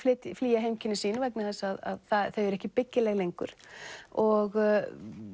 flýja heimkynni sín vegna þess að þau eru ekki byggileg lengur og